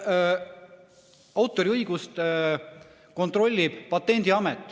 Autoriõigust kontrollib Patendiamet.